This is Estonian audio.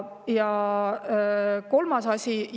Ja kolmas asi.